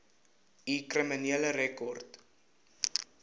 u kriminele rekord